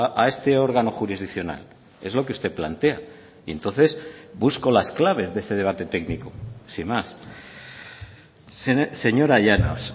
a este órgano jurisdiccional es lo que usted plantea y entonces busco las claves de ese debate técnico sin más señora llanos